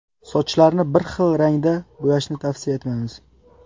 Sochlarni bir rangda bo‘yashni tavsiya etmaymiz.